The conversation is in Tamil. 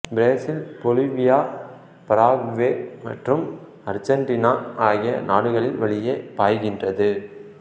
பிரேசில் பொலிவியா பராகுவே மற்றும் அர்சண்டினா ஆகிய நாடுகளின் வழியே பாய்கின்றது